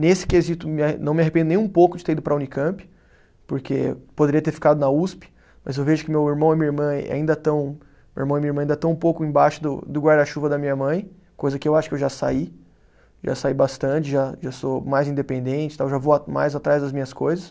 Nesse quesito, me arre, não me arrependo nem um pouco de ter ido para a Unicamp, porque poderia ter ficado na Usp, mas eu vejo que meu irmão e minha irmã ainda estão, meu irmão e minha irmã ainda estão um pouco embaixo do do guarda-chuva da minha mãe, coisa que eu acho que eu já saí, já saí bastante, já já sou mais independente tal, já vou mais atrás das minhas coisas.